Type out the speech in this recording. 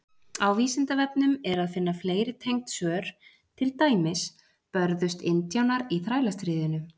Á Vísindavefnum er að finna fleiri tengd svör, til dæmis: Börðust indjánar í Þrælastríðinu?